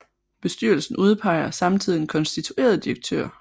Bestyrelsen udpeger samtidig en konstitueret direktør